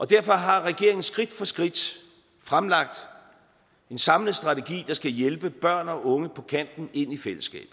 derfor har regeringen skridt for skridt fremlagt en samlet strategi der skal hjælpe børn og unge på kanten ind i fællesskabet